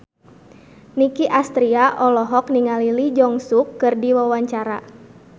Nicky Astria olohok ningali Lee Jeong Suk keur diwawancara